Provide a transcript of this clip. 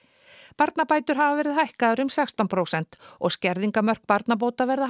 barnabætur hafa verið hækkaðar um sextán prósent og skerðingarmörk barnabóta verða